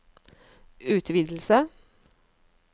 utvidelse